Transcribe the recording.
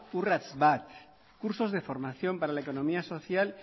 urrats bat cursos de formación para la economía social